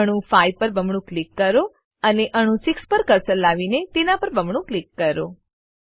તો અણુ 5 પર બમણું ક્લિક કરો અને અણુ 6 પર કર્સર લાવીને તેના પર બમણું ક્લિક કરો